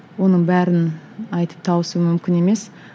оның бәрін айтып тауысу мүмкін емес